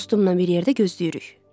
Dostumla bir yerdə gözləyirik.